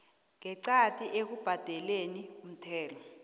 ngeqadi ekubhadeleni umthelo